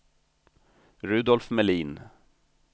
Rudolf Melin